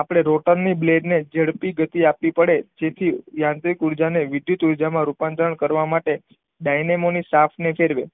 આપણે રોટનની બ્લેડ ને જેટલી ગતિ આપવી પડે જેથી યાંત્રિક ઉર્જાને વિદ્યુત ઉર્જામાં રૂપાંતરણ કરવા માટે ડાયનેમોની સાફ ને ફેરવે.